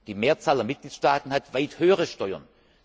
Die Mehrzahl der Mitgliedstaaten hat weit höhere Steuern.